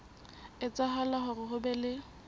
etsahala hore ho be le